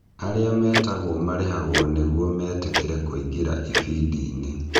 Arĩa metagwo marihagwo nĩguo metĩkĩre kũingĩra ibindi-inĩ.